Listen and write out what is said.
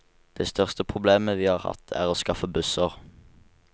Det største problemet vi har hatt, er å skaffe busser.